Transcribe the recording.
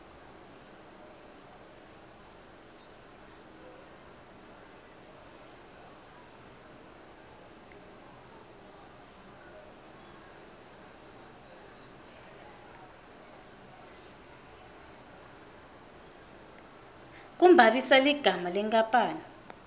kumbambisa ligama lenkapani